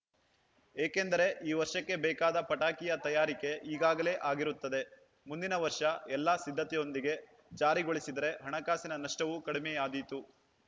ಏಕೆಂದರೆ ಈ ವರ್ಷಕ್ಕೆ ಬೇಕಾದ ಪಟಾಕಿಯ ತಯಾರಿಕೆ ಈಗಾಗಲೇ ಆಗಿರುತ್ತದೆ ಮುಂದಿನ ವರ್ಷ ಎಲ್ಲ ಸಿದ್ಧತೆಯೊಂದಿಗೆ ಜಾರಿಗೊಳಿಸಿದರೆ ಹಣಕಾಸಿನ ನಷ್ಟವೂ ಕಡಿಮೆಯಾದೀತು